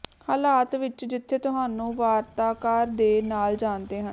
ਹਾਲਾਤ ਵਿੱਚ ਜਿੱਥੇ ਤੁਹਾਨੂੰ ਵਾਰਤਾਕਾਰ ਦੇ ਨਾਲ ਜਾਣਦੇ ਹਨ